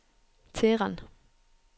Teheran